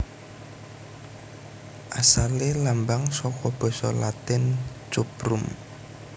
Asalé lambang saka basa Latin Cuprum